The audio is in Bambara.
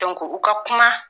u ka kuma